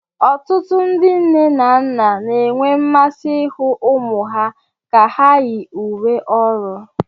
Ọtụtụ ndị nne na nna na-enwe mmasị ịhụ ụmụ ha ka ha yi uwe ọrụ